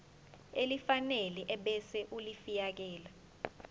elifanele ebese ulifiakela